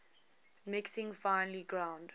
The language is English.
mixing finely ground